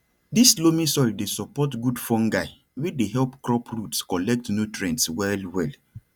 dis loamy soil dey support good fungi wey dey help crop roots collect nutrients well well